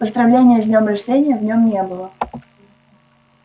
поздравления с днём рождения в нём не было